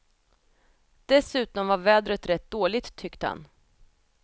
Dessutom var vädret rätt dåligt tyckte han.